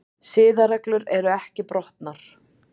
Siðareglur ekki brotnar